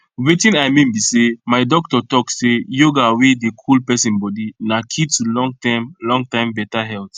watin i mean be say my doctor talk say yoga wey dey cool person body na key to longterm longterm better health